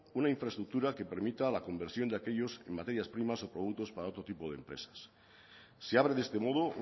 una infraestructura que permita la conversión de aquellos en materias primas o productos para otro tipo de empresas se abre de este modo